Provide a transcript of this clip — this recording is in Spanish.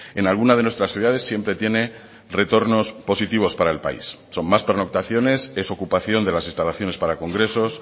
en alguna de nuestras ciudades siempre tiene retornos positivos para el país son más pernoctaciones es ocupación de las instalaciones para congresos